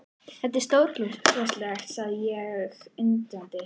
Þetta er stórkostlegt sagði ég undrandi.